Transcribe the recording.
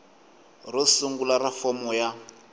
ro sungula ra fomo ya